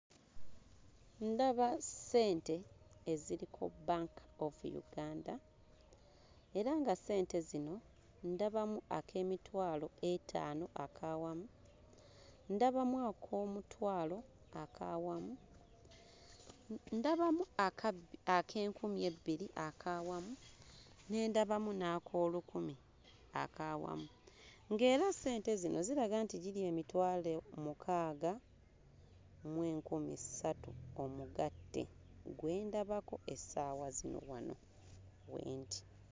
Ndaba ssente eziriko Bank of Uganda era nga ssente zino ndabamu ak'emitwalo etaano ak'awamu, ndabamu ak'omutwalo ak'awamu, ndabamu aka... ak'enkumi ebbiri ak'awamu, ne ndabamu n'ak'olukumi ak'awamu ng'era ssente zino ziraga nti giri emitwalo mukaaga mu enkumi ssatu omugatte gwe ndabako essaawa zino wano we ndi.